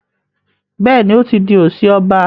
Béèni o tí dì osi ọba.